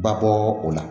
Babɔ o la